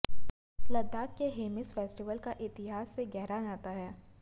लद्दाख के हेमिस फेस्टिवल का इतिहास से गहरा नाता है